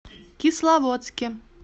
кисловодске